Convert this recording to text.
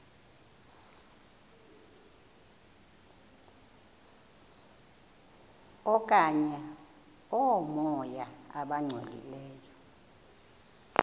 okanye oomoya abangcolileyo